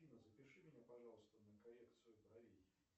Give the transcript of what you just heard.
афина запиши меня пожалуйста на коррекцию бровей